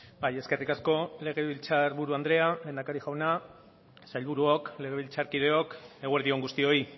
bai eskerrik asko legebiltzar buru andrea lehendakari jauna sailburuok legebiltzarkideok eguerdi on guztioi